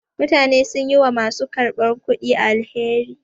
Mutane sun yi wa ma su karɓar kudi alheri.